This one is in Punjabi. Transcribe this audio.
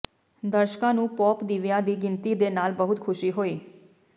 ਦਰਸ਼ਕਾਂ ਨੂੰ ਪੌਪ ਦੀਵਿਆਂ ਦੀ ਗਿਣਤੀ ਦੇ ਨਾਲ ਬਹੁਤ ਖੁਸ਼ੀ ਹੋਈ